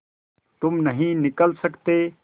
तुम नहीं निकल सकते